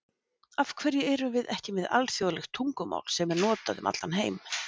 AF HVERJU ERUM VIÐ EKKI MEÐ ALÞJÓÐLEGT TUNGUMÁL SEM ER NOTAÐ UM ALLAN HEIM???